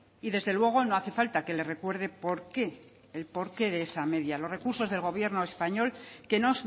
y desde luego no hace falta que le recuerde por qué el porqué de esa media los recursos del gobierno español que no